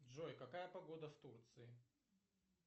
джой какая погода в турции